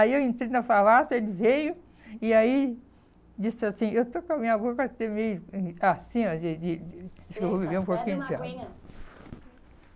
Aí eu entrei na farmácia, ele veio e aí disse assim, eu estou com a minha boca meio assim, ó, de de de, eita, bebe uma aguinha, acho eu vou beber um pouquinho de água.